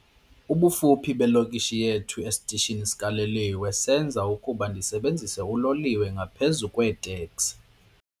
Ubufuphi belokishi yethu esitishini sikaloliwe benza ukuba ndisebenzise uloliwe ngaphezu kweeteksi.